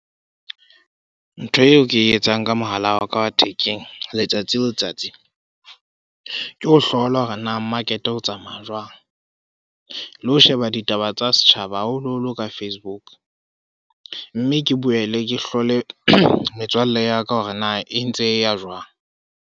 Ntho eo ke e etsang ka mohala wa ka wa thekeng, letsatsi le letsatsi. Ke ho hlola hore na market o tsamaya jwang. Le ho sheba ditaba tsa setjhaba haholo-holo ka Facebook. Mme ke boele ke hlole metswalle ya ka hore na e ntse e ya jwang.